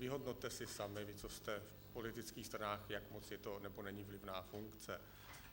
Vyhodnoťte si sami, vy, co jste v politických stranách, jak moc je to nebo není vlivná funkce.